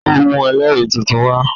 Ó mú ẹlẹ́rìí tuntun wa